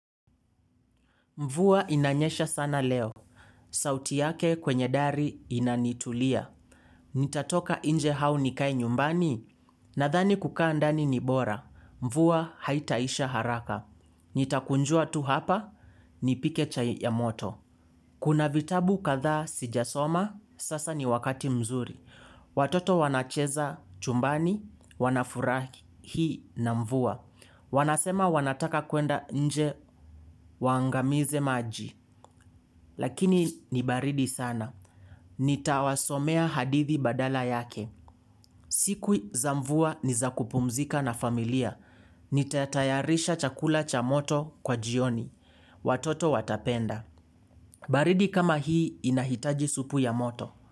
Mvua inanyesha sana leo. Sauti yake kwenye dari inanitulia. Nitatoka nje au nikae nyumbani? Nadhani kukaa ndani ni bora. Mvuwa haitaisha haraka. Nitakunjua tu hapa. Nipike chai ya moto. Kuna vitabu kadhaa sijasoma. Sasa ni wakati mzuri. Watoto wanacheza chumbani. Wanafurahi na mvua. Wanasema wanataka kwenda nje waangamize maji. Lakini ni baridi sana. Nitawasomea hadithi badala yake. Siku za mvua ni za kupumzika na familia. Nitatayarisha chakula cha moto kwa jioni. Watoto watapenda. Baridi kama hii inahitaji supu ya moto.